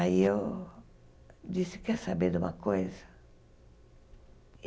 Aí eu disse, quer saber de uma coisa?